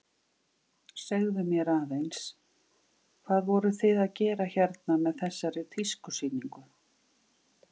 Segðu mér aðeins, hvað voruð þið að gera hérna með þessari tískusýningu?